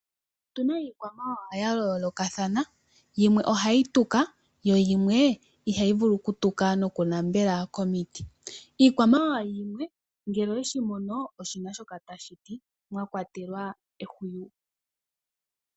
Otu na iikwamawawa ya yoolokathana. Yimwe ohayi tuka yo yimwe ihayi vulu okutuka nokunambela komiti. Iikwamawawa yimwe ngele oweshi mono oshina shoka tashi ti, mwa kwatelwa ehuwi.